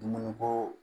Dumuni ko